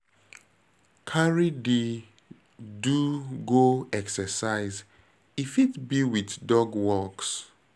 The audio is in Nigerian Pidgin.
Carry di do go exercise, e fit be with dog walks